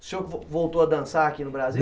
O senhor vo voltou a dançar aqui no Brasil?